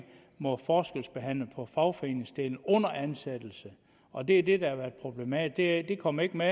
må forskelsbehandle på fagforeningsdelen under ansættelse og det er det der har været problematisk det kom ikke med